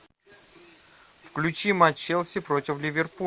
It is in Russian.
включи матч челси против